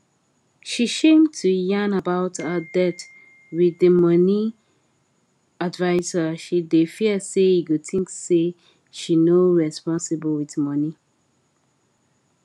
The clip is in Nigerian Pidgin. she shame to yarn about her debt with the money adviser she dey fear say e go think say she no responsible with money